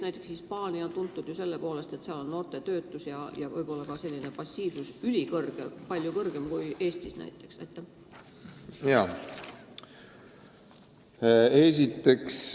Näiteks Hispaania on tuntud selle poolest, et seal on noorte töötus ja võib-olla ka passiivsus ülisuur, palju suurem kui Eestis.